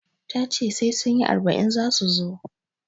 Tace sai sunyi arba'in zasu zo